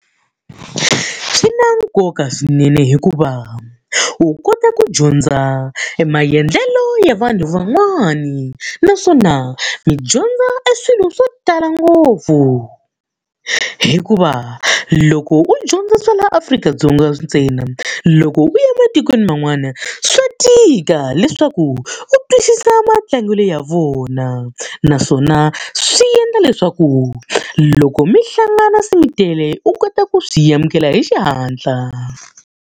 Swi na nkoka swinene hikuva wu kota ku dyondza emaendlelo ya vanhu van'wani, naswona mi dyondza e swilo swo tala ngopfu. Hikuva loko u dyondza swa laha Afrika-Dzonga ntsena loko u ematikweni man'wana swa tika leswaku u twisisa matlangelo ya vona. Naswona swi endla leswaku, loko mi hlangana se mi tele u kota ku swi amukela hi xihatla.